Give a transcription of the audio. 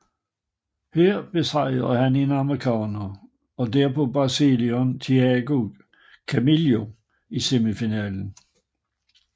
Her besejrede han en amerikaner og derpå brasilianeren Tiago Camilo i semifinalen